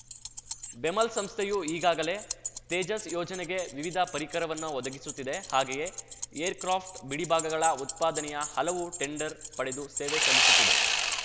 ಬೆಮೆಲ್‌ ಸಂಸ್ಥೆಯು ಈಗಾಗಲೇ ತೇಜಸ್‌ ಯೋಜನೆಗೆ ವಿವಿಧ ಪರಿಕರವನ್ನು ಒದಗಿಸುತ್ತಿದೆ ಹಾಗೆಯೇ ಏರ್‌ಕ್ರಾಪ್ಟ್‌ ಬಿಡಿಭಾಗಗಳ ಉತ್ಪಾದನೆಯ ಹಲವು ಟೆಂಡರ್‌ ಪಡೆದು ಸೇವೆ ಸಲ್ಲಿಸುತ್ತಿದೆ